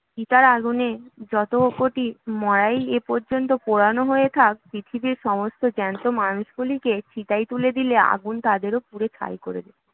চিতার আগুনে যত কোটি মড়াই এ পর্যন্ত পোড়ানো হয়ে থাক, পৃথিবীর সমস্ত জ্যান্ত মানুষগুলোকে চিতায় তুলে দিলে আগুন তাদেরও পুড়িয়ে ছাই করে দেবে